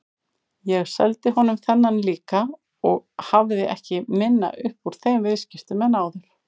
Ég seldi honum þennan líka og hafði ekki minna upp úr þeim viðskiptum en áður.